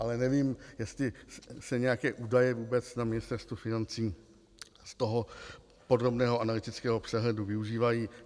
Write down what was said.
Ale nevím, jestli se nějaké údaje vůbec na Ministerstvu financí z toho podrobného analytického přehledu využívají.